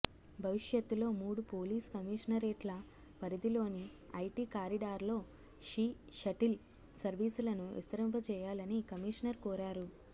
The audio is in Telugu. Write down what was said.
భవిష్యత్తులో మూడు పోలీస్ కమిషనరేట్ల పరిధిలోని ఐటీ కారిడార్లో షీ షటిల్ సర్వీసులను విస్తరింపజేయాలని కమిషనర్ కోరారు